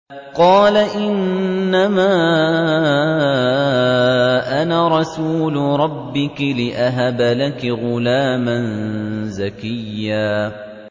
قَالَ إِنَّمَا أَنَا رَسُولُ رَبِّكِ لِأَهَبَ لَكِ غُلَامًا زَكِيًّا